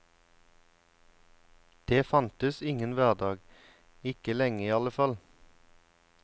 Det fantes ingen hverdag, ikke lenge i alle fall.